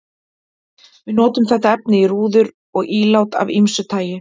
Við notum þetta efni í rúður og ílát af ýmsu tagi.